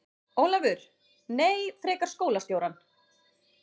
Ólafur: Nei, frekar skólastjórann.